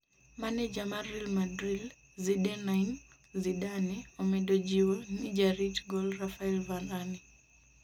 maneja mar Real Madrid Zinedine Zidane omedo jiwo ni jarit gol Raphael Varane